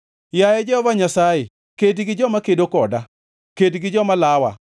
Yaye Jehova Nyasaye kedi gi joma kedo koda; ked gi joma lawa.